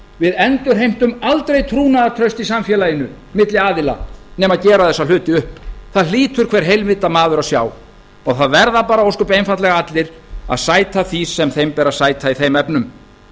við endurheimtum aldrei trúnaðartraust í samfélaginu milli aðila nema gera þessa hluti upp það hlýtur hver heilvita maður að sjá það verða bara ósköp einfaldlega allir að sæta því sem þeim ber að sæta í þeim efnum